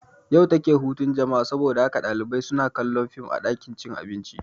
Yau take hutun jama'a saboda haka ɗalibai suna kallon fim a ɗakin cin abinci